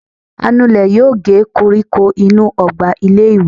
anulè yóò gé kóríkó inú ogba ilé ìwé.